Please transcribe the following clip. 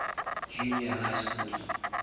junior high schools